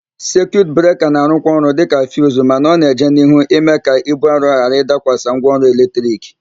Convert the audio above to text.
Sekiut breka na-arụkwa ọrụ dịka fiuzu mana ọ na-eje n'ihu na-ịme ka íbú arọ ghara ịdakwasị ngwaọrụ eletrik.